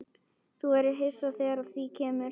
Þú verður hissa þegar að því kemur.